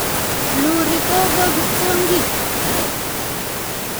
Iuri kogo kipsongik